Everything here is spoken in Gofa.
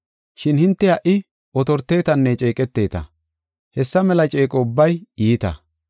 Shin hinte ha77i otortetanne ceeqeteta. Hessa mela ceeqo ubbay iita.